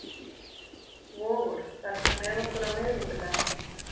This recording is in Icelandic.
Vogur, ferð þú með okkur á miðvikudaginn?